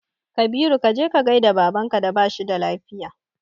Kabiru kaje ka gaida baban ka da bashi da lafiya